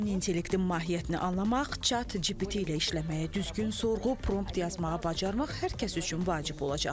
Süni intellektin mahiyyətini anlamaq, chat GPT ilə işləməyi, düzgün sorğu prompt yazmağı bacarmaq hər kəs üçün vacib olacaq.